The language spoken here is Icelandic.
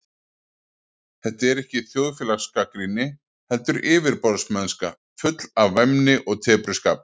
Þetta er ekki þjóðfélagsgagnrýni, heldur yfirborðsmennska, full af væmni og tepruskap.